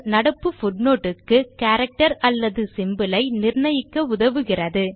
நடப்பு பூட்னோட் க்கு கேரக்டர் அல்லது சிம்போல் ஐ நிர்ணயிக்க உதவுகிறது